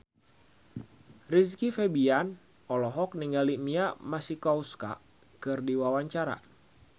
Rizky Febian olohok ningali Mia Masikowska keur diwawancara